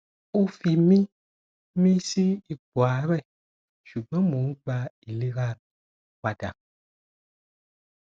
o fi mi mi si ipo aare sugbo mo n gba ilera mi o pada